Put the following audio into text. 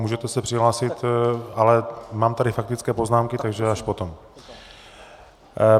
Můžete se přihlásit, ale mám tady faktické poznámky, takže až potom.